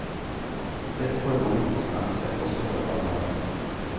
Dette får mange konsekvenser, også for barnehagen.